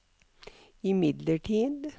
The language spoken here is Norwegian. imidlertid